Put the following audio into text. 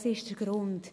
Das ist der Grund.